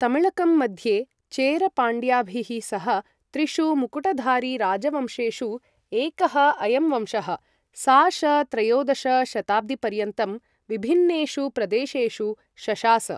तमिळकम् मध्ये चेर पाण्ड्याभिः सह, त्रिषु मुकुटधारिराजवंशेषु एकः अयं वंशः, सा.श.त्रयोदश शताब्दिपर्यन्तं विभिन्नेषु प्रदेशेषु शशास।